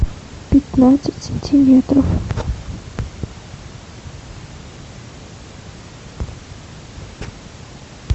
пятнадцать сантиметров